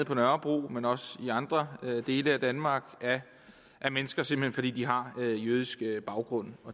på nørrebro men også i andre dele af danmark af mennesker simpelt hen fordi de har jødisk baggrund